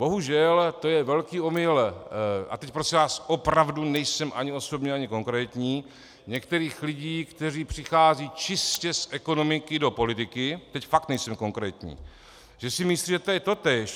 Bohužel, to je velký omyl, a teď prosím vás, opravdu nejsem ani osobní ani konkrétní, některých lidí, kteří přicházejí čistě z ekonomiky do politiky, teď fakt nejsem konkrétní, že si myslí, že to je totéž.